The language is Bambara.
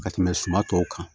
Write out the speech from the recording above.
Ka tɛmɛ suma tɔw kan